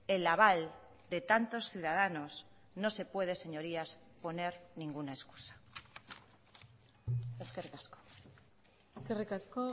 el aval de tantos ciudadanos no se puede señorías poner ninguna excusa eskerrik asko eskerrik asko